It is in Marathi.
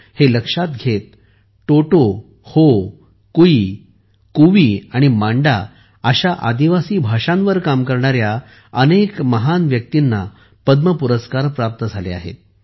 हे लक्षात घेत टोटो हो कुई कुवी आणि मांडा अशा आदिवासी भाषांवर काम करणाऱ्या अनेक महान व्यक्तींना पद्म पुरस्कार प्राप्त झाले आहेत